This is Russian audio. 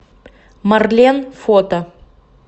марлен фото